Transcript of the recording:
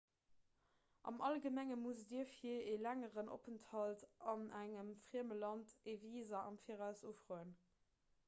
am allgemengen musst dir fir e längeren openthalt an engem frieme land e visa am viraus ufroen